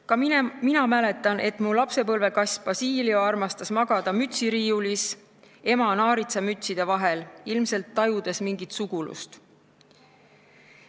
Ka mina mäletan, et minu lapsepõlvekass Basilio armastas magada mütsiriiulis ema naaritsamütside vahel, ilmselt tajudes mingit sugulust.